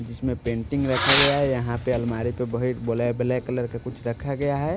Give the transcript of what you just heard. जिसमें पेंटिंग रखा गया है यहां पे अलमारी पे वही ब्लैक ब्लैक कलर का कुछ रखा गया है।